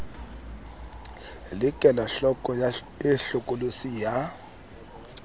le kelohloko e hlokolosi ya